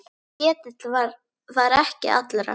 Ketill var ekki allra.